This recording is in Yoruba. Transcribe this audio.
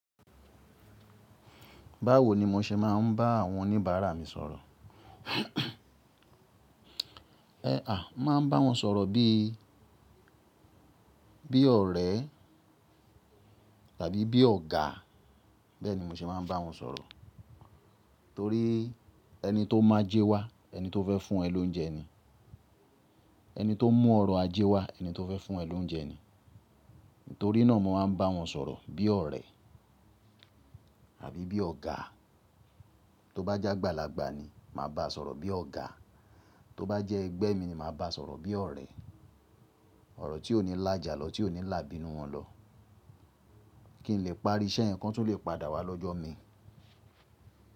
Báwo ni mo ṣe máa ń bá àwọn oníbàárà mi sọ̀rọ̀? Ẹ à, máa ń bá wọn sọ̀rọ̀ bí, bí ọ̀rẹ́ tàbí bí ọ̀gá. Bẹ́ẹ̀ ni mo ṣe máa ń bá wọn sọ̀rọ̀. Torí ẹni tó máa jẹ́ wá, ẹni tó fẹ́ fún ẹ lóúnjẹ ni. Ẹni tó mú ọrọ̀ ajé wá, ẹni tó fẹ́ fún ẹ lóúnjẹ ni. Nítorí náà mo máa ń bá wọn sọ̀rọ̀ bí ọ̀rẹ́ àbí bí ọ̀gá. Tó bá jẹ́ àgbàlagbà ni, màá bá a sọ̀rọ̀ bí ọ̀gá. Tó bá jẹ́ ẹgbẹ́ mi ni, màá bá a sọ̀rọ̀ bí ọ̀rẹ́. Ọ̀rọ̀ tí ò ní làjà lọ, tí ò ní làbínú wọn lọ. Kí n lè parí iṣẹ́ yen kan tun lè padà wá lọ́jọ́ mi.